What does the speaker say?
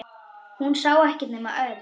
Hún sá ekkert nema Örn.